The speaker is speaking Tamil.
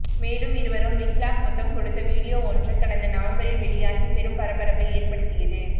மேலும் இருவரும் லிக்லாக் முத்தம் கொடுத்த வீடியோ ஒன்றும் கடந்த நவம்பரில் வெளியாகி பெரும் பரபரப்பை ஏற்படுத்தியது